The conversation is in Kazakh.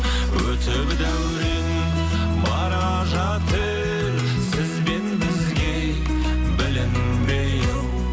өтіп дәурен бара жатыр сіз бен бізге білінбей ау